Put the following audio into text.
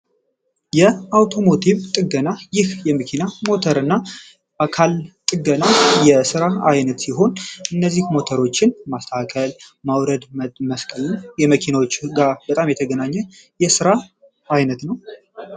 የአውቶሞቲቭ ጥገና ይህ የመኪና፣ ሞተር እና አካል ጥገና የሥራ አይነት ሲሆን፤ እነዚህ ሞተሮችን ማስተከል ማውረድ መስቀል የመኪናዎች ጋር በጣም የተገናኘ የሥራ አይነት ነው።